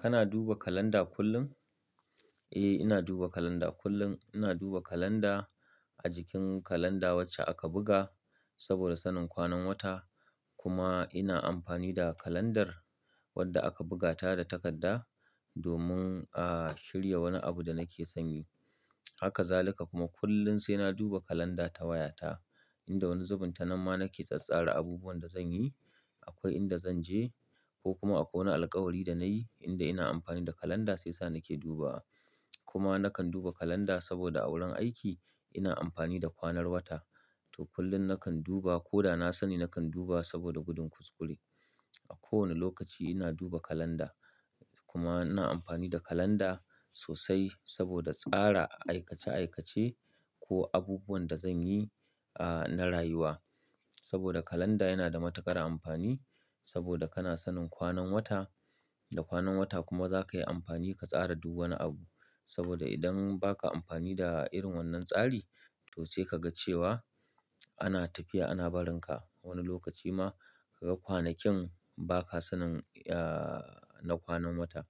Kana duba kalanda kullum? Eh, ina duba kalanda kullum. Ina duba kalanda a jikin kalanda wacce aka buga saboda sanin kwanan wata. Kuma ina amfani da kalandar wadda aka buga ta da takarda domin a shirya wani abu da nake son yi. Haka zalika kuma kullum sai na duba kalanda ta wayata inda wani zubun tanan ma nake tsattsara abubuwan da zan yi. Akwai inda zan je ko kuma akwai wani alkawari da nayi inda ina amfani da kalanda shi yasa nake duba. Kuma nakan duba kalanda saboda a wurin aiki ina amfani da kwanan wata to kullum nakan duba ko da na sani nakan duba saboda gudun kuskure. A kowane lokaci ina duba kalanda kuma ina amfani da kalanda sosai saboda tsara aikace aikace ko abubuwan da zan yi, ah, na rayuwa. Saboda kalanda yana da matuƙar amfani saboda kana sanin kwanan wata, da kwanan wata kuma zaka yi amfani ka tsara duk wani abu. Saboda idan ba ka amfani da irin wannan tsari to sai ka ga cewa ana tafiya ana barinka. A wani lokaci ma kaga kwanakin ba ka sanin, ya, na kwanan wata.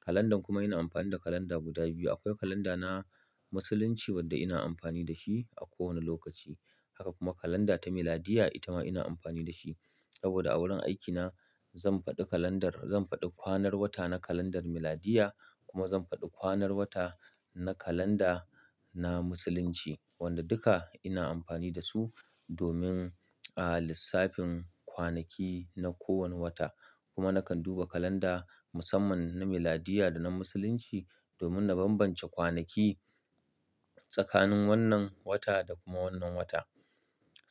Kalandar kuma ina amfani da kalanda guda biyu. Akwai kalanda na musulunci wadda ina amfani da shi a kowane lokaci. Haka kuma kalanda ta miladiya itama ina amfani da shi saboda a wurin aikina zan faɗi kalandar-- zan faɗi kwanan wata na kalandar miladiya kuma zan faɗi kwanan wata na kalanda na musulunci wanda duka ina amfani da su domin, ah, lissafin kwanaki na kowane wata. Kuma nakan duba kalanda musamman na miladiya da na musulunci domin na bambance kwanaki tsakanin wannan wata da kuma wannan wata.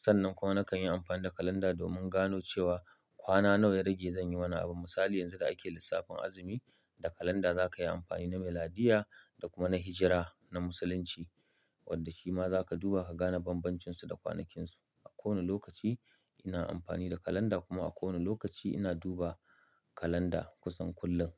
Sannan kuma nakan yi amfani da kalanda domin gano cewa kwana nawa ya rage zan yi wani abu. Misali yanzu da ake lissafin azumi, da kalanda za ka yi amfani na miladiya da kuma na hijira na musulunci wadda shi ma za ka duba ka gane bambancinsu da kwanakinsu. A kowane lokaci ina amfani da kalanda kuma a kowane lokaci ina duba kalanda kusan kullum.